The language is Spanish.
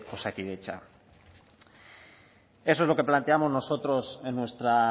osakidetza eso es lo que planteamos nosotros en nuestra